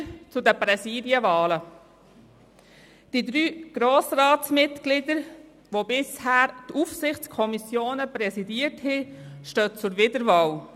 Weiter zu den Präsidiumswahlen: Die drei Grossratsmitglieder, die die Aufsichtskommissionen bisher präsidiert haben, stehen zur Wiederwahl.